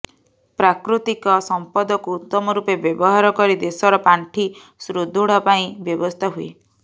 ପ୍ରାକୃତିକ ସମ୍ପଦକୁ ଉତ୍ତମ ରୂପେ ବ୍ୟବହାର କରି ଦେଶର ପାଣ୍ଠି ସୁଦୃଢ ପାଇଁ ବ୍ୟବସ୍ଥା ହୁଏ